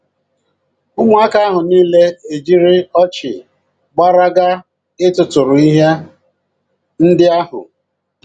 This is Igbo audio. Ụmụaka ahụ nile ejiri ọchị gbara gaa ịtụtụrụ ihe ndị ahụ.